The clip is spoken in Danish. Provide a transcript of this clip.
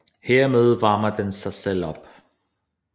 Herved varmer den sig selv op